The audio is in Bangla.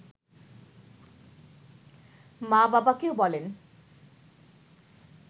মা বাবাকেও বলেন